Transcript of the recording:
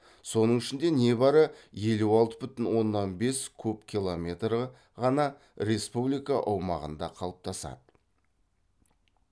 соның ішінде не бары елу алты бүтін оннан бес куб километрі ғана республика аумағында қалыптасады